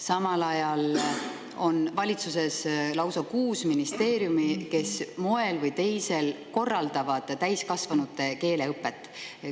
Samal ajal korraldavad lausa kuus ministeeriumi moel või teisel täiskasvanute keeleõpet.